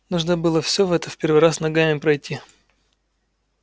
нужно было всё в это в первый раз ногами пройти